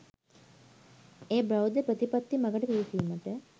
එය බෞද්ධ ප්‍රතිපත්ති මඟට පිවිසීමට